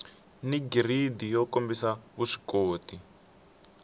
ni giridi yo kombisa vuswikoti